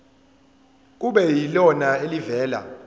kube yilona elivela